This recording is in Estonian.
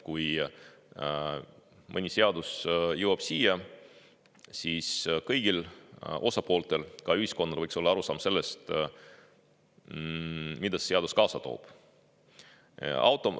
Kui mõni siia jõuab, siis kõigil osapooltel ja ka ühiskonnas tervikuna võiks olla arusaam sellest, mida see seadus kaasa toob.